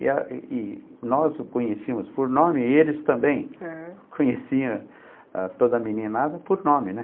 E a e e nós o conhecíamos por nome e eles também conheciam toda a meninada por nome, né?